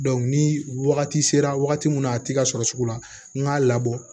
ni wagati sera wagati min na a ti ka sɔrɔ sugu la n k'a labɔ